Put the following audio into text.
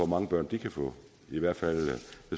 mange børn de kan få i hvert fald